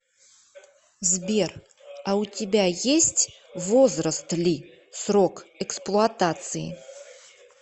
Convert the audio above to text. сбер а у тебя есть возраст ли срок эксплуатации